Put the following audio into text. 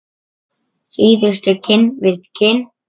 Síðustu kinn við kinn.